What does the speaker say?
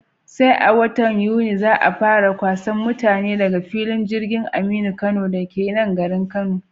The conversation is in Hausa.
Sai a watan Yuni za'a fara kwasan mutane daga filin jirgin Aminu Kano dake nan garin Kano